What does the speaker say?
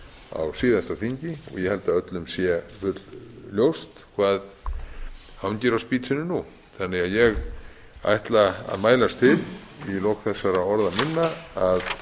á síðasta þingi ég held að öllum sé full ljóst hvað hangir á spýtunni nú þannig að ég ætla að mælast til í lok þessara orða minna að